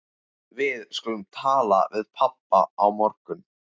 Við skulum tala við pabba á morgun.